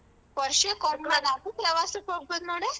ಪ್ರವಾಸಕ್ಕ್ ಹೋಗ್ಬೇಕು ನೋಡೆ.